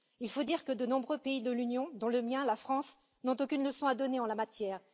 Il faut dire que de nombreux pays de l'Union, dont le mien, la France, n'ont aucune leçon à donner en la matière.